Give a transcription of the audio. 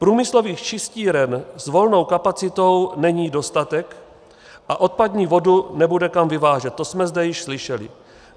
Průmyslových čistíren s volnou kapacitou není dostatek a odpadní vodu nebude kam vyvážet, to jsme zde již slyšeli.